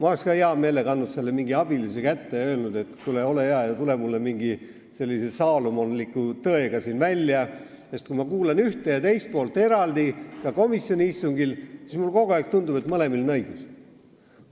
Oleksin hea meelega andnud selle mingi abilise kätte ja öelnud, et kuule, ole hea ja tule välja mingi sellise saalomonliku tõega, sest kui ma kuulan ühte ja teist poolt eraldi, ka komisjoni istungil, siis mulle tundub kogu aeg, et mõlemal on õigus.